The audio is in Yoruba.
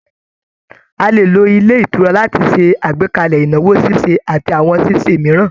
A lè lo ilé ìtura láti ṣe àgbékalẹ̀ ìnáwó ṣíṣe àti àwọn ṣíṣe mìíràn